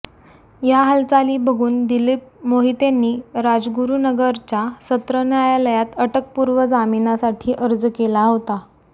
या हालचाली बघून दिलीप मोहितेंनी राजगुरू नगरच्या सत्र न्यायालयात अटकपूर्व जामिनासाठी अर्ज केला होता